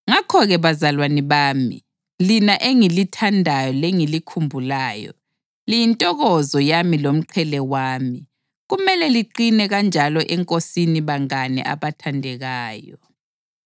Ngakho-ke bazalwane bami, lina engilithandayo lengilikhumbulayo, liyintokozo yami lomqhele wami, kumele liqine kanjalo eNkosini bangane abathandekayo!